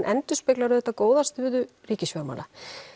endurspeglar auðvitað góða stöðu ríkisfjármála